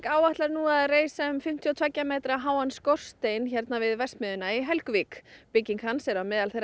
áætlar nú að reisa um fimmtíu og tveggja metra háan skorstein hérna við verksmiðjuna í Helguvík bygging hans er á meðal þeirra